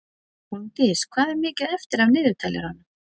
Hólmdís, hvað er mikið eftir af niðurteljaranum?